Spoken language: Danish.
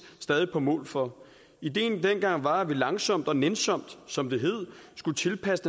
stadig på mål for ideen dengang var at vi langsomt og nænsomt som det hed skulle tilpasse